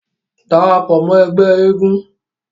darapọ̀ mọ́ ẹgbẹ́ eégún